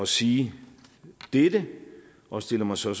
sige dette og stiller mig så